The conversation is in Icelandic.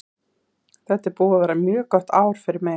Þetta er búið að vera mjög gott ár fyrir mig.